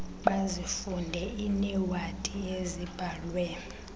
bazifunde iinewadi ezibhalwe